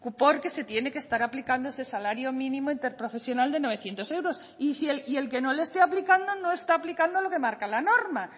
porque se tiene que estar aplicando ese salario mínimo interprofesional de novecientos euros y el que no lo esté aplicando no está aplicando lo que marca la norma